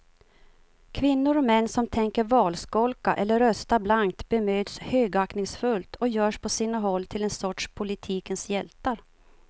Kvinnor och män som tänker valskolka eller rösta blankt bemöts högaktningsfullt och görs på sina håll till en sorts politikens hjältar.